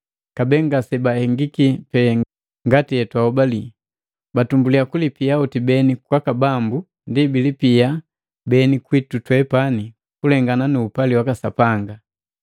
Kabee ngasebahengiki pee ngati etwahobali! Batumbuliya kulipia hoti beni kwaka Bambu, ndi bilipia beni kwitu twepani kulengana nu upali waka Sapanga.